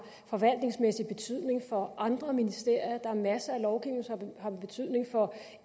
forvaltningsmæssig betydning for andre ministerier der er masser af lovgivning som har betydning for